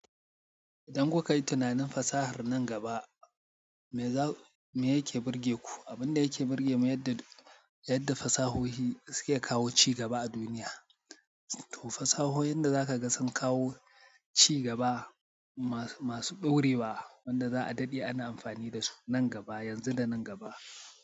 Idan kuka yi tunanin fasahar nan gaba me ya ke burge ku? Abin da yake burge mu yadda, yadda fasahohi suke kawo cigaba a duniya. To fasahohin da za ka ga sun kawo ci gaba masu ɗorewa wanda za a daɗe ana amfani da su nan gaba, yanzu da nan gaba.